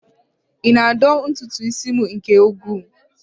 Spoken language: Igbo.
Ị na-adọ ntutu isi m nke ukwuu?